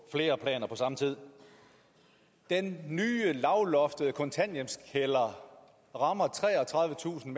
flere planer på samme tid den nye lavloftede kontanthjælpskælder rammer treogtredivetusind